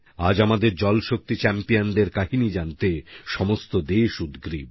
আজ আমাদের জলশক্তিchampion দের কাহিনী জানতে সমগ্র দেশ উদগ্রীব